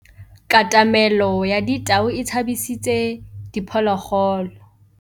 Katamêlô ya tau e tshabisitse diphôlôgôlô.